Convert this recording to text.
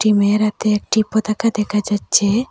মেয়ের হাতে একটি পতাকা দেখা যাচ্ছে।